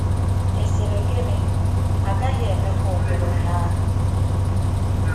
ịsịrị gịnị, agaghị eme kwa ụdịrị ihe ahụ!